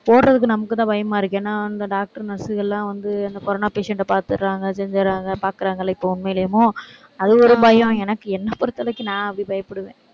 போடறதுக்கு நமக்குத்தான் பயமா இருக்கு. ஏன்னா, அந்த doctor, nurse க எல்லாம் வந்து அந்த corona patient அ பாத்தர்றாங்க, செஞ்சறாங்க, பாக்கறாங்க இல்ல, இப்ப உண்மையிலுமும், அது ஒரு பயம். எனக்கு என்ன பொறுத்தவரைக்கும் நான் அப்படி பயப்படுவேன்.